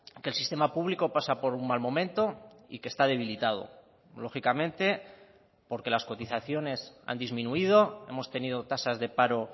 que el sistema público pasa por un mal momento y que está debilitado lógicamente porque las cotizaciones han disminuido hemos tenido tasas de paro